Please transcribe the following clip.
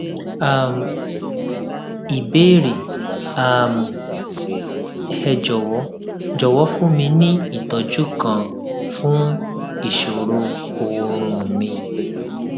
um ìbéèrè um ẹ jòwó jòwó fún mi ní ìtójú kan fún ìṣòro oorun mi